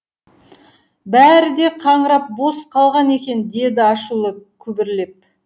бәрі де қаңырап бос қалған екен деді ашулы күбірлеп